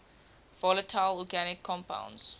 volatile organic compounds